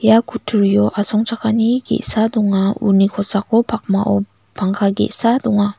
ia kutturio asongchakani ge·sa donga uni kosako pakmao pangka ge·sa donga.